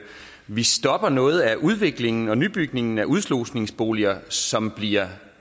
vi stopper noget af udviklingen og nybygningen af udslusningsboliger som bliver